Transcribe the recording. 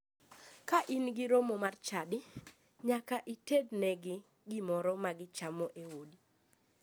Ka in gi romo mar chadi, nyaka itednegi gimoro ma gichamo e odi.